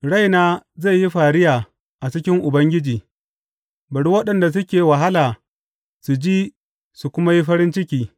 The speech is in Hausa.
Raina zai yi fariya a cikin Ubangiji; bari waɗanda suke wahala su ji su kuma yi farin ciki.